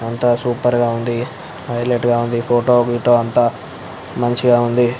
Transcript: ఎంతో సూపర్ గ ఉంది హైటీలైట్ గ ఉంది ఫోటో గిటో అంత మంచిగా ఉంది --